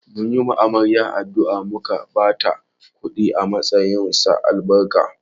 Mun yi wa amarya addu’a, muka ba ta kudi a matsayin sa albarka